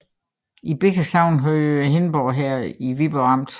Begge sogne hørte til Hindborg Herred i Viborg Amt